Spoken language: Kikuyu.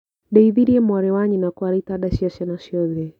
Ndeithirie mwarĩ wa nyina kwara itanda cia ciana ciothe.